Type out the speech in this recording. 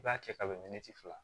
I b'a kɛ kabini fila